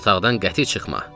Yataqdan qəti çıxma.